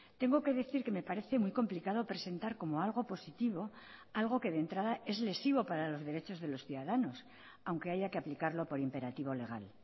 tengo que decir que me parece muy complicado presentar como algo positivo algo que de entrada es lesivo para los derechos de los ciudadanos aunque haya que aplicarlo por imperativo legal